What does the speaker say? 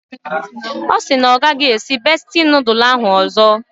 Ọ sị na ọ gaghị esi bestie nudul ahụ ọzọ.